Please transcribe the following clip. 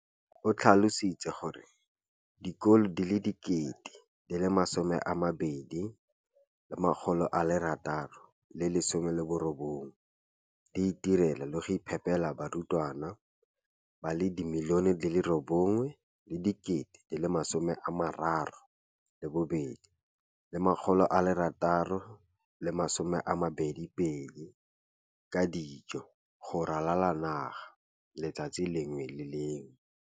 o tlhalositse gore dikolo di le 20 619 di itirela le go iphepela barutwana ba le 9 032 622 ka dijo go ralala naga letsatsi le lengwe le le lengwe.